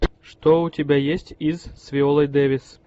что у тебя есть из с виолой дэвис